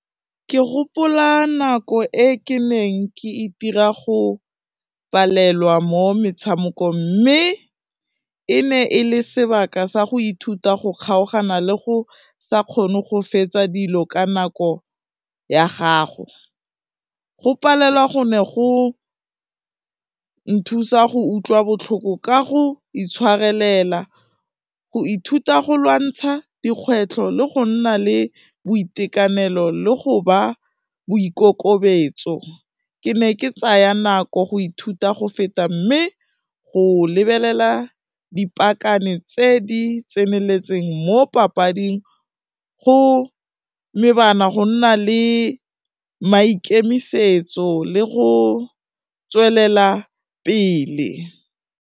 Ke gopola nako e ke neng ke itira go palelwa mo metshamekong mme e ne e le sebaka sa go ithuta go kgaogana le go sa kgone go fetsa dilo ka nako ya gago, go palelwa go ne go nthusa go utlwa botlhoko ka go itshwarelela, go ithuta go lwantsha dikgwetlho le go nna le boitekanelo le go ba boikokobetso, ke ne ke tsaya nako go ithuta go feta mme go lebelela dipakane tse di tseneletseng mo papading go go nna le maikemisetso le go tswelela pele.